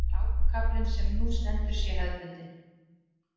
Hlákukaflinn sem nú stendur sé hefðbundinn